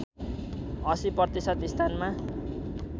८० प्रतिशत स्थानमा